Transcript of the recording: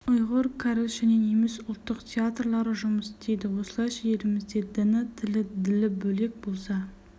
ұйғыр кәріс және неміс ұлттық театрлары жұмыс істейді осылайша елімізде діні тілі ділі бөлек болса